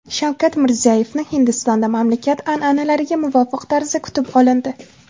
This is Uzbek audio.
Shavkat Mirziyoyevni Hindistonda mamlakat an’analariga muvofiq tarzda kutib olindi.